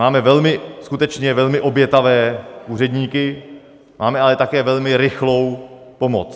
Máme skutečně velmi obětavé úředníky, máme ale také velmi rychlou pomoc.